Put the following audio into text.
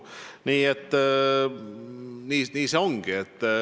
Nii see ongi.